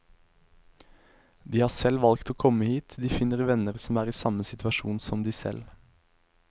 De har selv valgt å komme hit, de finner venner som er i samme situasjon som de selv.